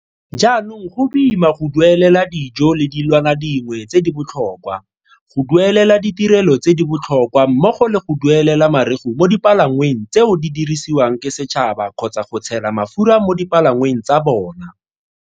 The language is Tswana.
Jaanong go boima go duelela dijo le dilwana dingwe tse di botlhokwa, go duelela ditirelo tse di botlhokwa mmogo le go duelela mareu mo dipalangweng tseo di dirisiwang ke setšhaba kgotsa go tshela mafura mo dipalangweng tsa bona.